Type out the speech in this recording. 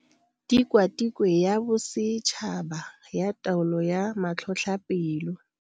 Tikwatikwe ya Bosetšhaba ya Taolo ya Matlhotlhapelo.